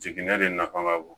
Jiginɛ de nafa ka bon